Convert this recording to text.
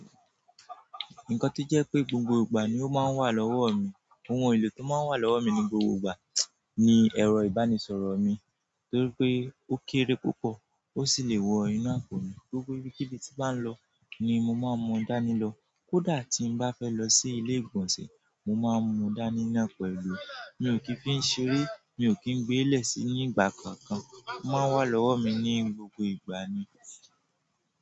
Nǹkan tó jẹ́ pé gbogbo ìgbà ni ó máa ń wà lọ́wọ́ mi, ohun èlò tó máa ń wà lọ́wọ́ mi ní gbogbo ìgbà ni ẹ̀rọ ìbánisọ̀rọ̀ mi. Torí pé ó kéré púpọ̀ ó sì le wọ inú àpò mi. Gbogbo ibikíbi tí n bá ń lọ ni mo máa ń mú dànì lọ. Kódà tí n bá fẹ́ lọ sí ilé ìgbọ̀nsẹ̀, mo máa mú dànì náà pẹ̀lú. Mi ò kì í fi ń ṣeré, mi ò kì í gbe lẹ́ẹ́sí ní ìgbà kankan. Ó máa wà lọ́wọ́ mi ní gbogbo ìgbà ni.